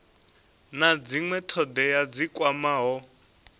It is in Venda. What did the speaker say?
na dzinwe thodea dzi kwamaho